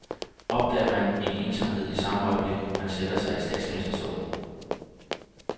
Opdager man en ensomhed i samme øjeblik, man sætter sig i statsministerstolen?